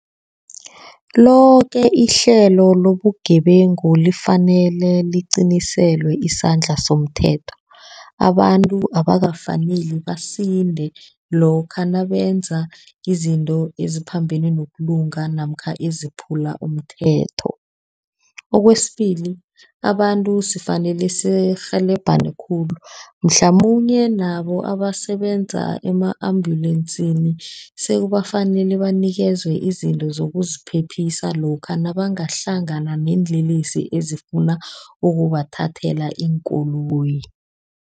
Loke ihlelo lobugebengu lifanele liqiniselwe isandla somthetho. Abantu abakafaneli basinde lokha nabenza izinto eziphambene nokulunga, namkha eziphula umthetho. Kwesibili, abantu sifanele sirhelebhane khulu, mhlamunye nabo abasebenza ema-ambulensini, sekubafanele banikezwe izinto zokuziphephisa lokha nabangahlangana neenlelesi ezifuna ukubathathela iinkoloyi.